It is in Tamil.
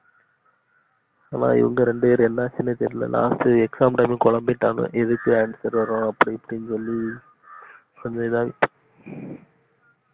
ஆனா இவங்க இரண்டு பேரும் என்ன ஆச்சினே தெரியல last ட்டு exam time ல கொழம்பிட்டானுங்க எதுக்கு answer வரு அப்டி இப்டின்னு சொல்லி கொஞ்சம் இதாய்டிச்சி